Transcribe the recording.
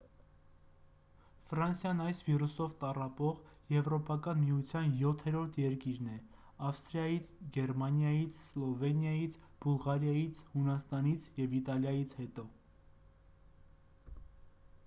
ֆրանսիան այս վիրուսով տառապող եվրոպական միության յոթերորդ երկիրն է ավստրիայից գերմանիայից սլովենիայից բուլղարիայից հունաստանից և իտալիայից հետո